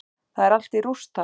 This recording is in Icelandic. Það er allt í rúst þar.